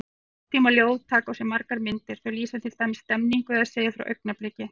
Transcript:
Nútímaljóð taka á sig margar myndir, þau lýsa til dæmis stemningu eða segja frá augnabliki.